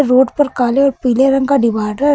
Road पर काले और पीले रंग का डिवाइडर है।